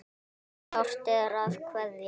En sárt er að kveðja.